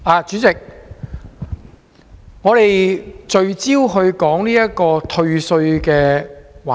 主席，現在是聚焦討論退稅的環節。